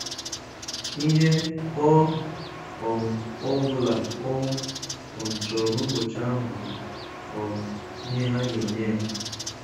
Ihe ọ um bụla ọ um chọrọ n'ụbọchị ahụ bụ um ihe ha ga-enye ya.